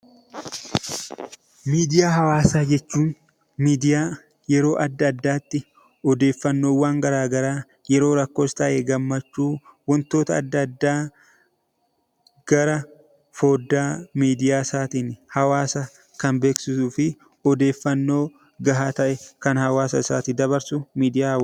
Miidiyaa hawaasaa jechuun miidiyaa yeroo adda addaatti odeeffannoowwan garaagaraa yeroo rakkoos ta'ee gammachuu wantoota adda addaa karaa foddaa miidiyaa isaatiin hawaasa kan beeksisuu fi odeeffannoo gahaa ta'e kan hawaasa isaatiif dabarsudha.